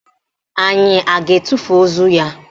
Anyị a ga-etufu ozu ya?